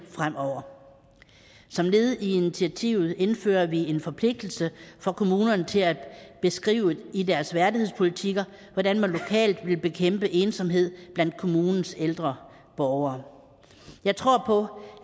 fremover som led i initiativet indfører vi en forpligtelse for kommunerne til at beskrive i deres værdighedspolitikker hvordan man lokalt vil bekæmpe ensomhed blandt kommunens ældre borgere jeg tror på